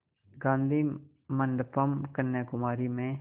गाधी मंडपम् कन्याकुमारी में